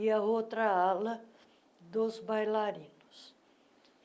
e a outra ala dos bailarinos.